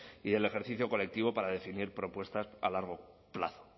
y el ejercicio colectivo para definir propuestas a largo plazo